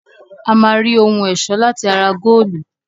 A máa rí ohun-ẹ̀ṣọ́ láti ara góólù.